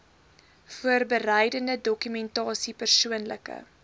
voorbereidende dokumentasie persoonlike